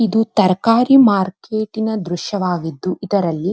ಇದು ತರಕಾರಿ ಮಾರ್ಕೆಟ್ಟಿನ ದ್ರಶ್ಯವಾಗಿದ್ದು ಇದರಲ್ಲಿ --